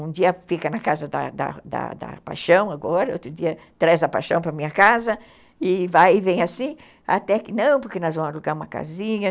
Um dia fica na casa da da da paixão agora, outro dia traz a paixão para minha casa e vai e vem assim, até que, não, porque nós vamos alugar uma casinha.